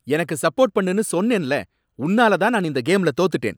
எனக்கு சப்போர்ட் பண்ணுன்னு சொன்னேன்ல! உன்னாலதான் நான் இந்த கேம்ல தோத்துட்டேன்.